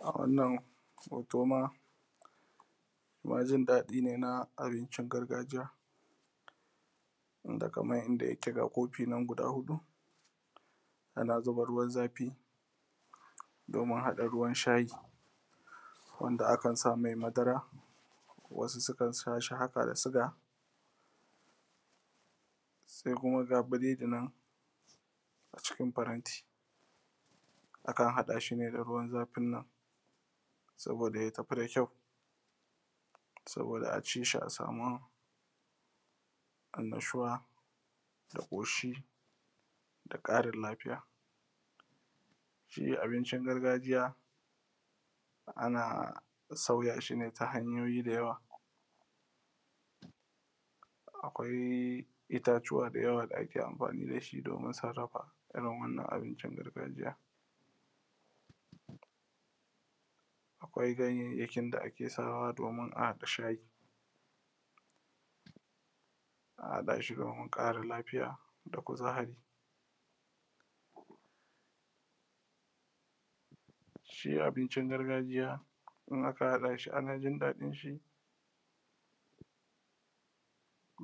A wannan hoto ma jin daɗi ne ma na abincin gargajiya wanda kaman yanda yake ga kofi nan guda huɗu ana zuba ruwan zafi da kuma haɗa ruwan shayi wanda akan same madara sukan sha shi haka da suga sai kuma ga biredi nan cikin faranti akan haɗa shi ne da ruwan zafin nan domin ya tafi da kyau domin a ci shi a samu annashuwa da ƙoshi da ƙarin lafiya shi abincin gargajiya ana sauya shi ne ta hanyoyi da yawa akwai itatuwa da yawa da ake amfani da shi domin mu sarrafa irin wannan abincin na gargajiya akwai kayayyakin da ake sawa domin a haɗa shayi a haɗa shi domin ƙarin lafiya da kuzari shi abincin gargajiya in aka haɗa shi ana jin daɗin shi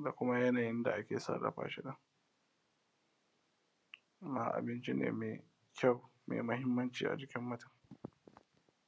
ga kuma yanayin da ake sarrafa shi nan amma abinci ne mai kyawu maimahinmaninci a jikin mutum.